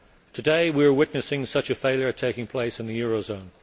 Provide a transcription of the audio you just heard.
Today we are witnessing such a failure taking place in the eurozone.